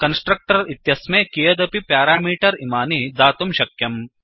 constructor इत्यस्मै कियदपि parameter इमानि दातुं शक्यम्